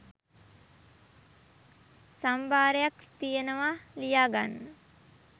සම්භාරයක් තියෙනවා ලියා ගන්න